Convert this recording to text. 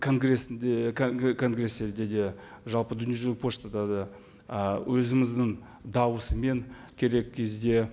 конгрессінде конгресстерде де жалпы дүниежүзілік поштада да ы өзіміздің дауысымен керек кезде